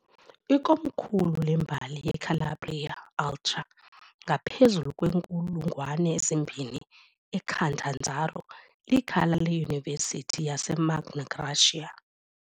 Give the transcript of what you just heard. Ikomkhulu lembali yeCalabria Ultra ngaphezulu kweenkulungwane ezimbini, iCatanzaro likhaya leyunivesithi yase "Magna Graecia".